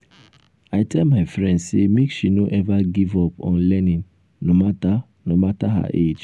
i tell my friend sey make she no eva give up on learning no mata no mata her age.